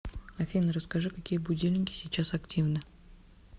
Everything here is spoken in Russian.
афина расскажи какие будильники сейчас активны